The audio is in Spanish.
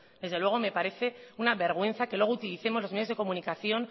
desde luego me parece una vergüenza que luego utilicemos los medios de comunicación